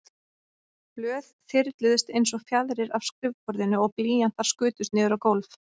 Blöð þyrluðust einsog fjaðrir af skrifborðinu og blýantar skutust niður á gólf.